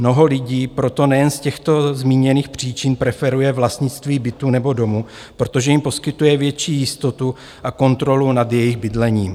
Mnoho lidí proto nejen z těchto zmíněných příčin preferuje vlastnictví bytu nebo domu, protože jim poskytuje větší jistotu a kontrolu nad jejich bydlením.